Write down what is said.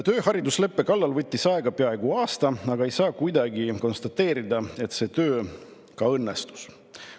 Töö haridusleppe kallal võttis aega peaaegu aasta, aga ei saa kuidagi konstateerida, et see töö ka õnnestus.